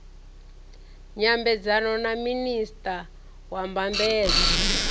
nyambedzano na minista wa mbambadzo